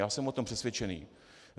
Já jsem o tom přesvědčený.